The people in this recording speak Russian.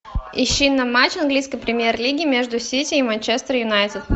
ищи нам матч английской премьер лиги между сити и манчестер юнайтед